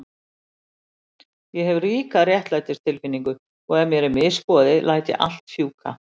Ég hef ríka réttlætistilfinningu og ef mér er misboðið læt ég allt fjúka.